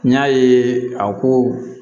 N y'a ye a ko